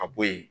A bo yen